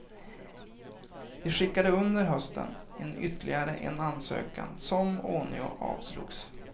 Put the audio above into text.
De skickade under hösten in ytterligare en ansökan som ånyo avslogs.